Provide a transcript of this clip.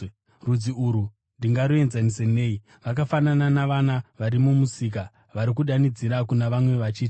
“Rudzi urwu ndingaruenzanisa nei? Vakafanana navana vari mumisika vari kudanidzira kuna vamwe vachiti: